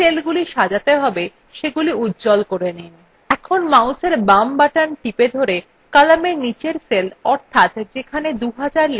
এখন mouseএর বাম button ধরে কলামের নীচের cell অর্থাৎ যেখানে 2000 লেখা আছে cell পর্যন্ত টেনে আনুন